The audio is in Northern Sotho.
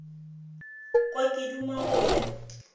kwa ke duma go ya